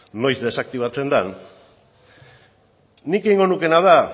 noiz desaktibatzen den nik egingo nukeena da